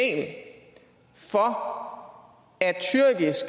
for